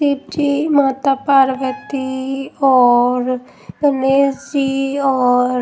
शिव जी माता पार्वती और गणेश जी और--